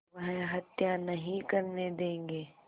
वह हत्या नहीं करने देंगे